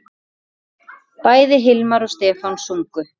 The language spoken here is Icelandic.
Bæði Hilmar og Stefán sungu.